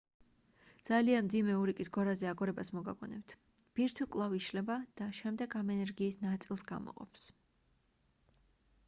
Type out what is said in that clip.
ძალიან მძიმე ურიკის გორაზე აგორებას მოგაგონებთ ბირთვი კვლავ იშლება და შემდეგ ამ ენერგიის ნაწილს გამოყოფს